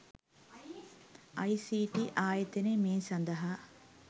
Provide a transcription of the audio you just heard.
අයි.සී.ටී.ආයතනය මේ සඳහා